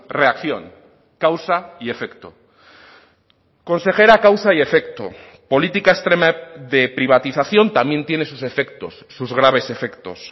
reacción causa y efecto consejera causa y efecto política extrema de privatización también tiene sus efectos sus graves efectos